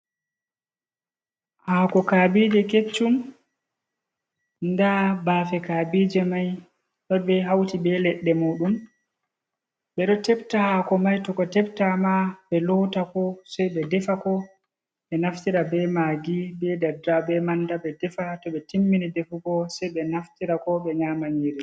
Hako kabije keccum, nda bafe kabije mai ɗo be hauti be leɗɗe moɗum, ɓeɗo tebta hako mai to ko tebta ma ɓe lotako sei ɓe defa ko ɓe naftira be maagi, be daddawa, be manda ɓe defa, tobe timmini defuko sei ɓe naftira ko ɓe nyama nƴiri.